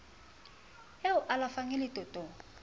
e o alafang e letotong